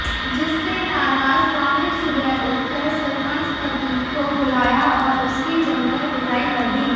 जिससे नाराज ग्रामीण सुबह उठकर सरपंच पति को बुलाया और उसकी जमकर पिटाई कर दी